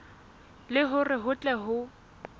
le hore ho tle ho